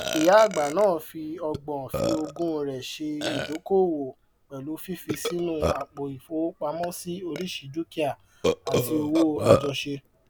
ìyá àgbà náà fi ọgbọn fi ogún rẹ ṣe ìdókòwò pẹlú fífi sínú àpò ìfowópamọsí oríṣi dukia àti òwò àjọṣe